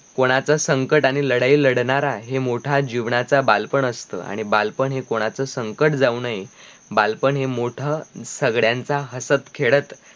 कोणाचा संकट आणी लडाई लडनार आहे मोठा जीवनाचा बालपण असतो, आणी बालपण हे कोणाचा संकट जाऊ नाही, बालपण हि मोठ, सगड्यांचा हसत खेडत